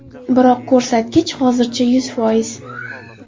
Biroq ko‘rsatkich hozircha yuz foiz.